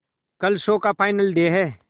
कल शो का final day है